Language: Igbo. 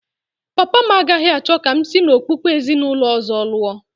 Papa m agaghị achọ ka m si n’okpukpe ezinụlọ ọzọ lụọ